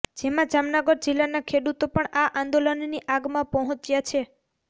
જેમાં જામનગર જિલ્લાના ખેડૂતો પણ આ આંદોલનની આગમાં પહોંચ્યા છે